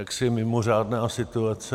Jaksi mimořádná situace...